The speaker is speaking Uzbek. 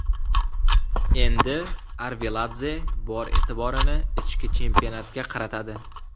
Endi Arveladze bor e’tiborini ichki chempionatga qaratadi.